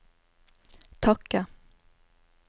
takke